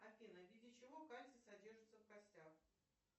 афина в виде чего кальций содержится в костях